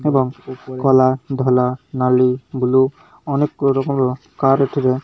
ଏବଂ କଲା ଧଳା ନାଲି ବ୍ଲୁ ଅନେକ କଲର୍ କୁଣ୍ଡ କାର ରେ ଏଥିରେ।